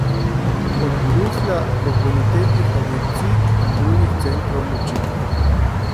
Od Bruslja do bonitetnih agencij in drugih centrov moči.